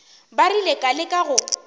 ba rile ka leka go